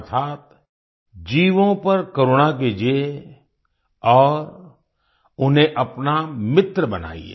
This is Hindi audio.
अर्थात् जीवों पर करुणा कीजिए और उन्हें अपना मित्र बनाइए